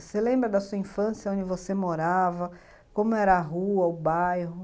Você lembra da sua infância, onde você morava, como era a rua, o bairro?